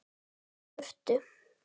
Hún hljóp í burtu.